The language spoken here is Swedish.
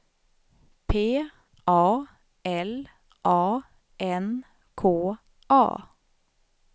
P A L A N K A